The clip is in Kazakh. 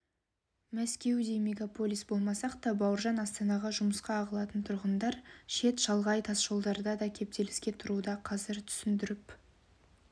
мәскеудей мегаполис болмасақ та бауыржан астанаға жұмысқа ағылатын тұрғындар шет-шалғай тасжолдарда да кептеліске тұруда қазір түсіндіріп